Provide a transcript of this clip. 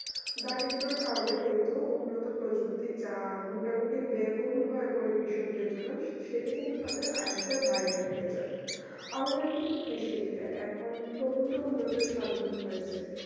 দারিদ্র্যের কারণে কিন্তু উন্নত প্রযুক্তি যা মোটামুটি ব্যয়বহুল হয়ে পড়ে কৃষকদের জন্য সেটা কিন্তু তাদের আয়ত্তের বাইরে থাকে যাই আমাদের কিন্তু কৃষি কাজ প্রভুতো কি উন্নত সাধন হয়েছে